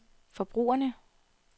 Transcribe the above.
forbrugerne